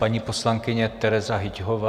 Paní poslankyně Tereza Hyťhová.